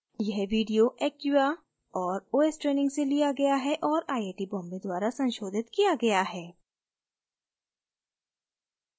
यह video acquia और os training से लिया गया है और आई आई टी बॉम्बे द्वारा संशोधित किया गया है